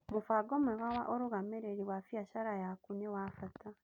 Mũbango mwega wa ũrũgamĩrĩri wa biacara yaku nĩ wa bata.